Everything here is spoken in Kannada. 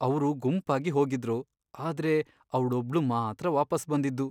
ಅವ್ರು ಗುಂಪಾಗಿ ಹೋಗಿದ್ರು, ಆದ್ರೆ ಅವ್ಳೊಬ್ಳು ಮಾತ್ರ ವಾಪಸ್ ಬಂದಿದ್ದು.